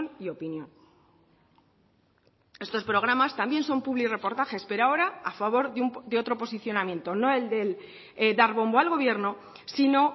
y opinión estos programas también son publirreportajes pero ahora a favor de otro posicionamiento no el del dar bombo al gobierno sino